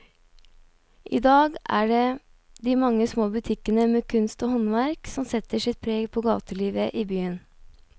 I dag er det de mange små butikkene med kunst og håndverk som setter sitt preg på gatelivet i byen.